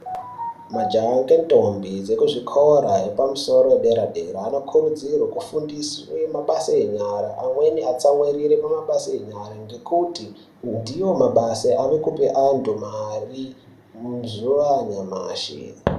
Majaha nendombi ukuzvikora zvepamusoro zvedera dera anokurudzirwa kufundiswa mabasa enyara amweni atsamwirire mabasa enyara ngekuti ndiwo mabasa arikupa antu mari mazuwa anyamashi.